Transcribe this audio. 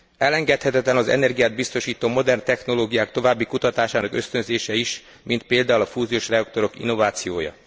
Elengedhetetlen az energiát biztosító modern technológiák további kutatásának ösztönzése is, mint például a fúziós reaktorok innovációja.